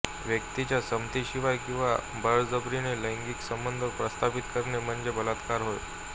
व्यक्तिच्या संमतीशिवाय किंवा बळजबरीने लैंगिक संबंध प्रस्थापित करणे म्हणजे बलात्कार होय